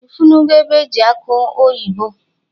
Ifunugo ebe eji akwụ eme mmanụ?